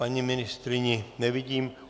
Paní ministryni nevidím.